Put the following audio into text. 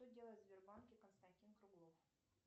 что делает в сбербанке константин круглов